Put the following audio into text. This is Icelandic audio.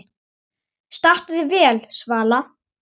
Stattu þig, Svala